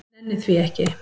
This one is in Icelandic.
Nenni því ekki.